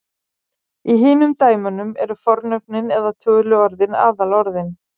Í hinum dæmunum eru fornöfnin eða töluorðin aðalorðin.